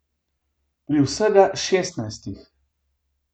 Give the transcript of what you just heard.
Pri vsega šestnajstih ...